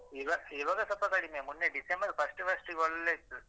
ಇವಾಗ ಇವಾಗ ಸ್ವಲ್ಪ ಕಡಿಮೆ ಮೊನ್ನೆ ಡಿಸೆಂಬರ್ first first ಒಳ್ಳೇ ಇತ್ತು.